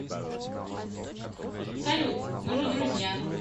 салют мы же друзья